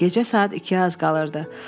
Gecə saat ikiyə az qalırdı.